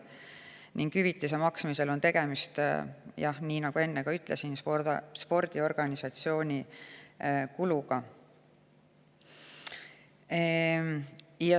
Nagu ma enne ütlesin, hüvitise maksmisel on tegemist spordiorganisatsiooni kuluga.